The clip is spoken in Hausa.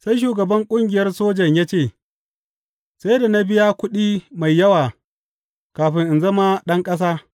Sai shugaban ƙungiyar sojan ya ce, Sai da na biya kuɗi mai yawa kafin in zama ɗan ƙasa.